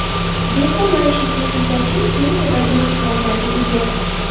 Beko maishiy texnika uchun keng turdagi mahsulotlarga ega.